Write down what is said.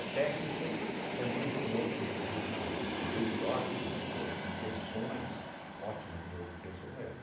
técnica também tem outros desvios na lei, são leis de ótimas boas intenções, ótimas boas intenções, é.